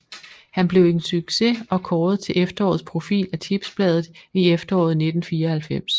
Han blev en succes og kåret til efterårets profil af Tipsbladet i efteråret 1994